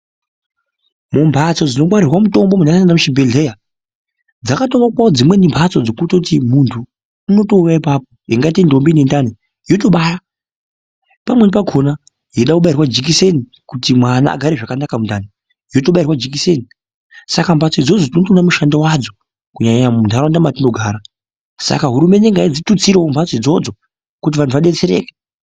Mumphatso dzinongwarirwa mitombo muntu aenda kuchibhedhleya dzakatowakwawo dzimweni mphatso dzokutoti muntu unotouyawo ipapo yeingatei ntombi ine ndani yotobara pamweni pakona yeida kubairwa jikiseni kuti mwana agare zvakanaka mundani yotobairwa jikiseni saka mphatso idzodzo tinotoona mushando wadzo muntaraunda kunyanyanya mwatinogara. Saka hurumende ngaidzitutsirewo mphatso idzodzo kuti vantu vadetsereke.